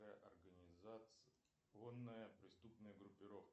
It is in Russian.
организационная преступная группировка